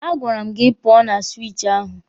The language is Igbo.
A gwara m gị pụọ na siwichi ahụ!